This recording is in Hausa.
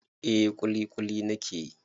Eh ƙuliƙuli na ke yi.